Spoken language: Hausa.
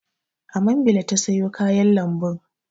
A mambila ta sayo kayan lambun.